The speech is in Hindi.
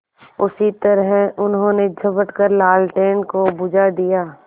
उसी तरह उन्होंने झपट कर लालटेन को बुझा दिया